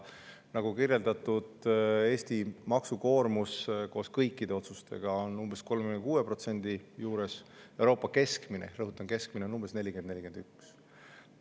Nagu kirjeldatud, Eesti maksukoormus on kõikide otsuste järel umbes 36%, Euroopa keskmine – rõhutan: keskmine – on umbes 40–41%.